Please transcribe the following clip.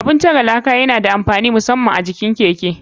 Abun tare laka yana da amfani musaman a jikin keke.